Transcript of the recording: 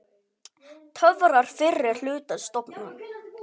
Töfrar fyrri hlutans dofna.